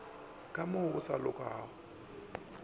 ka mo go sa lokago